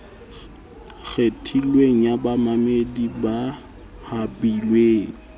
kgethilweng ya bamamedi ba habilweng